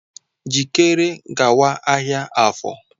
Jikere gawa ahịa Afor!